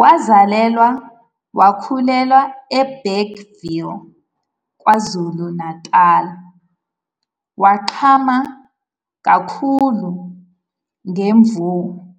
Wazalelwa wakhulela eBergville, KwaZulu-Natal, wagqama kakhulu ngemuva kokukhipha ingoma eyodwa ethi "Donsa Nkabi", ngo-2016.